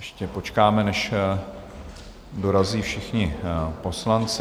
Ještě počkáme, než dorazí všichni poslanci.